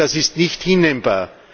Das ist nicht hinnehmbar.